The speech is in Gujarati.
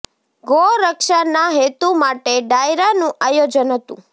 ગૌ રક્ષા ના હેતુ માટે ડાયરા નું આયોજન હતું